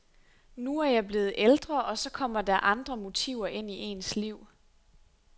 Nu er jeg blevet ældre og så kommer der andre motiver ind i ens liv.